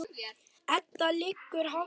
Eddu liggur hátt rómur.